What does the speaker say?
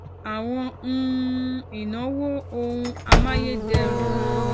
àwọn um ìnáwó ohun amayederun